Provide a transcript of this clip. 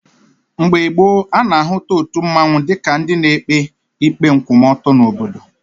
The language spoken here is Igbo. Mgbe gboo, a na-ahụta otu mmanwụ dịka ndị na-ekpe ikpe nkwụmọtọ n'obodo.